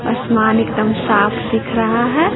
आसमान एकदम साफ दिख रहा है।